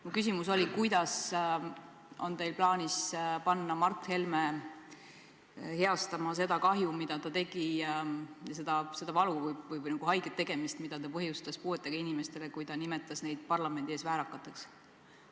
Mu küsimus oli, kuidas on teil plaanis panna Mart Helme heastama seda kahju, mida ta tegi, seda valu või haiget tegemist, mida ta põhjustas puuetega inimestele, kui ta nimetas neid parlamendi ees väärakateks.